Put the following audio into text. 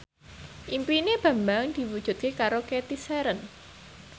impine Bambang diwujudke karo Cathy Sharon